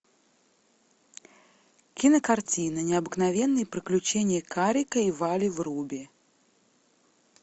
кинокартина необыкновенные приключения карика и вали вруби